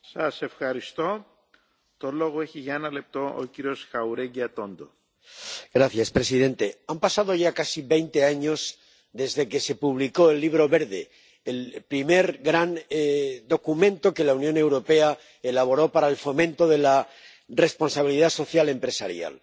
Señor presidente, han pasado ya casi veinte años desde que se publicó el Libro Verde, el primer gran documento que la Unión Europea elaboró para el fomento de la responsabilidad social de las empresas.